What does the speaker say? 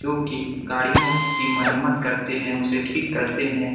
क्योंकि गाड़ियों की मरम्मत करते हैं उसे ठीक करते हैं ।